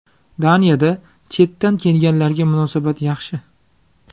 Daniyada chetdan kelganlarga munosabat yaxshi.